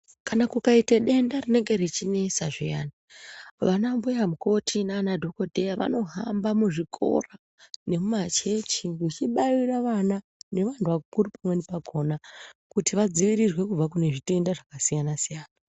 Kana kukaita denda rinenge richinesa zviyana, vana mbuyamukoti nanadhogodheya vanohamba muzvikora nemumachechi vechibaira vana nevandu vakuru pamweni pakona kuti vadzivirirwe kubva kune zvitenda zvakasiyana siyana.